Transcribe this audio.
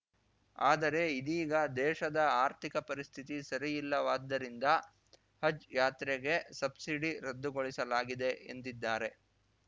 ಆದರೆ ಇದೀಗ ದೇಶದ ಆರ್ಥಿಕ ಪರಿಸ್ಥಿತಿ ಸರಿಯಿಲ್ಲವಾದ್ದರಿಂದ ಹಜ್‌ ಯಾತ್ರೆಗೆ ಸಬ್ಸಿಡಿ ರದ್ದುಗೊಳಿಸಲಾಗಿದೆ ಎಂದಿದ್ದಾರೆ